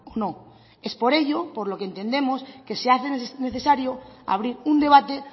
no es por ello por lo que entendemos que se hace necesario abrir un debate